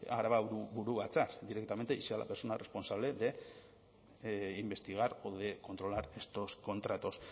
araba buru batzar directamente y sea la persona responsable de investigar o de controlar estos contratos